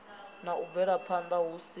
na u bvelaphanda hu si